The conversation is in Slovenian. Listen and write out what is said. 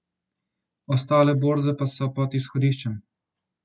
Ostale borze pa so pod izhodiščem.